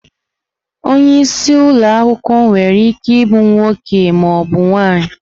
Onye isi ụlọ akwụkwọ nwere ike ịbụ nwoke ma ọ bụ nwanyị.